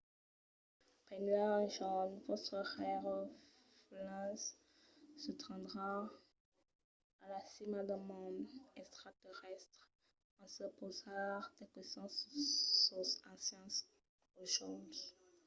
benlèu un jorn vòstres rèirefelens se tendràn a la cima d'un mond extraterrèstre en se pausar de questions sus sos ancians aujòls